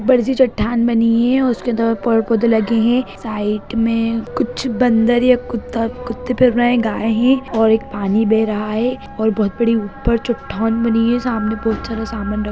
बड़ी सी चट्टान बनी हुई है और उसके अंदर पेड़-पौधे लगे है साइड में कुछ बंदर या कुत्ता कुत्ते फिर रहे है गाय है और एक पानी बह रहा है और बहोत बड़ी ऊपर चट्टान बनी है और सामने बहोत सारा सामान र --